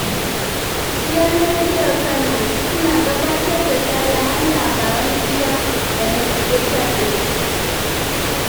Gidan rediyon Kano suna gabatar da sahihan labaran gida da na ƙetare.